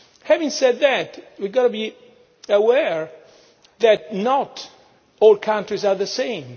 Having said that, we have got to be aware that not all countries are the same.